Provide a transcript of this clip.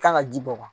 Kan ka ji bɔ ka ban